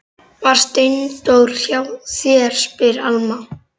Var Steindór hjá þér, spyr Alma.